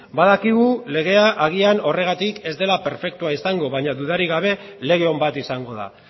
badakigu legea agian horregatik ez dela perfektua izango baina dudarik gabe lege on bat izango da